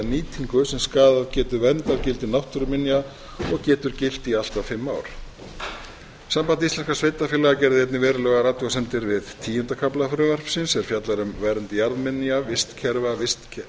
nýting sem skaðað getur verndargildi náttúruminja og getur gilt í allt að fimm ár samband íslenskra sveitarfélaga gerði einnig verulegar athugasemdir við tíunda kafla frumvarpsins sem fjallar um gerð jarðminja vistkerfa vistgerða